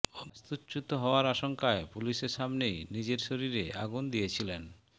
বাস্তুচ্যুত হওয়ার আশঙ্কায় পুলিশের সামনেই নিজের শরীরে আগুন দিয়েছিলেন